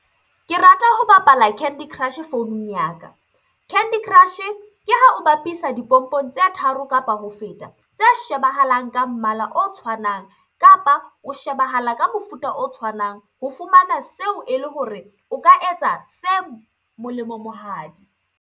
Ke rata ho bapala candy crush-e founung ya ka. Candy Crush ke ha o bapisa dipompong tse tharo kapa ho feta. Tse shebahalang ka mmala o tshwanang kapa o shebahala ka mofuta o tshwanang ho fumana seo ele hore o ka etsa se .